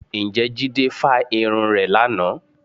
Ǹjẹ́ Jídé fa irun rẹ̀ lánàá?